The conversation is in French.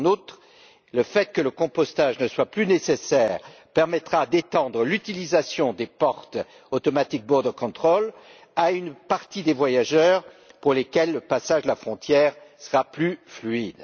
En outre, le fait que le compostage ne soit plus nécessaire permettra d'étendre l'utilisation des systèmes automatisés de contrôle aux frontières à une partie des voyageurs, pour lesquels le passage de la frontière sera plus fluide.